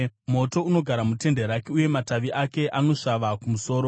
Moto unogara mutende rake; uye matavi ake anosvava kumusoro.